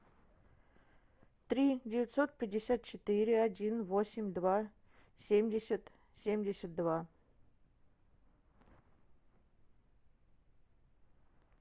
три девятьсот пятьдесят четыре один восемь два семьдесят семьдесят два